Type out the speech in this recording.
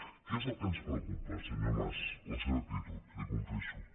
què és el que ens preocupa senyor mas la seva actitud li ho confesso